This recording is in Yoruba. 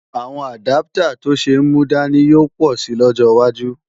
Àwọn àdáptà tó ṣe é múdání yóò pọ̀ si lọ́jọ́ wájú